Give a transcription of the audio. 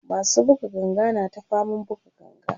masu buga ganga na ta faman buga ganga